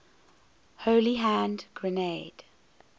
holy hand grenade